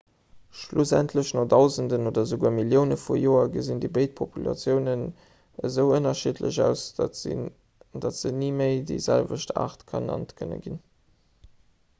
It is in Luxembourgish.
schlussendlech no dausenden oder esouguer millioune vu joer gesinn déi béid populatiounen esou ënnerschiddlech aus datt se ni méi déi selwecht aart genannt kënne ginn